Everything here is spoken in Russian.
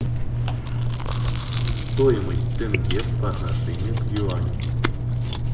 стоимость тенге по отношению к юаню